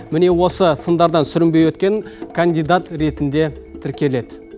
міне осы сындардан сүрінбей өткен кандидат ретінде тіркеледі